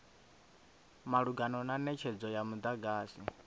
malugana na netshedzo ya mudagasi